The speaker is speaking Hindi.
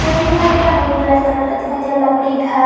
पेड़ दिखाई दे रहा है। बहोत बड़ा कलर का दिखाई दे रहा है। लकड़ी घर --